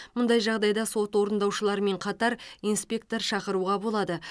мұндай жағдайда сот орындаушыларымен қатар инспектор шақыруға болады